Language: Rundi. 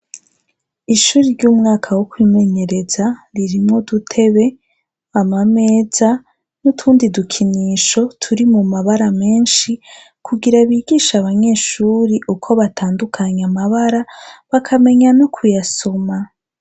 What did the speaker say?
Ishuri ry'umwaka wo kwimenyereza, ririmo udutebe, amameza, n'utundi dukinisho turi mu mabara menshi kugira bigisha abanyeshuri uko batandukanya amabara bakamenya no kuyasoma.